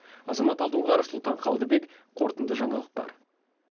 азамат алдоңғаров сұлтан қылдыбек қорытынды жаңалықтар